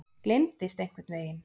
Gleymdist einhvern veginn.